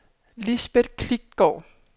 Lisbeth Klitgaard